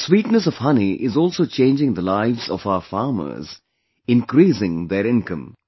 The sweetness of honey is also changing the lives of our farmers, increasing their income